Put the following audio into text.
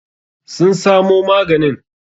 Sun samo maganin?